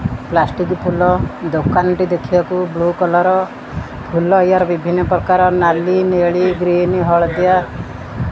Plastic ଫୁଲ ଦୋକାନ ଟି ଦେଖିବାକୁ ବ୍ଲୁ କଲର୍ । ଫୁଲ ଏହାର ବିଭିନ୍ନ ପ୍ରକାରର ନାଲି ନେଳି ଗ୍ରୀନ ହଳଦିଆ।